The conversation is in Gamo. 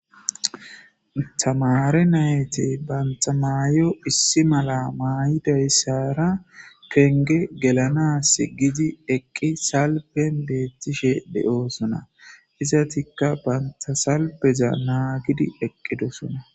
Tamare natiti banta mayo issi mala mayisara penge gelanasi gidi eqi salfen betishe deosona izatika banta salfeza nagidi eqidosona.